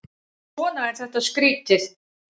Svona er þetta skrýtið.